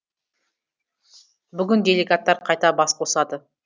бүгін делегаттар қайта бас қосады